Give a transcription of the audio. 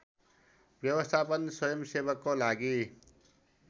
व्यवस्थापन स्वयम्‌सेवकको लागि